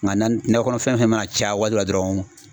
Nka nane nakɔ kɔnɔ fɛn fɛn mana caya waati dɔ la dɔrɔn